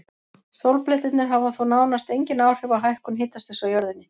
Sólblettirnir hafa þó nánast engin áhrif á hækkun hitastigs á jörðunni.